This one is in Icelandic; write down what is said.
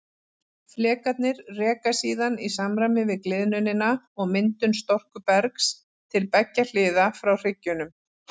Flekarnir reka síðan í samræmi við gliðnunina og myndun storkubergs til beggja hliða frá hryggjunum.